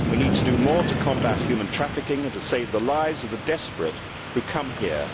We need to do more to combat human trafficking and to save the lives of the desperate who come here.